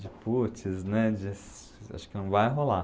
De putz, né, de acho que não vai rolar.